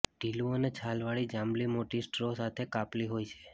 ઢીલું અને છાલવાળી જાંબલી મોટી સ્ટ્રો સાથે કાપલી હોય છે